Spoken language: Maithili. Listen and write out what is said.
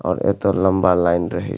और एते लम्बा लाइन रहे --